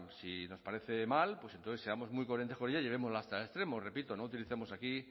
si nos parece mal entonces seamos muy coherentes con ella y llevémosla hasta el extremo repito no utilicemos aquí